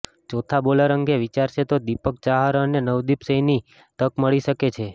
ચોથા બોલર અંગે વિચારશે તો દીપક ચાહર અને નવદીપ સૈનીને તક મળી શકે છે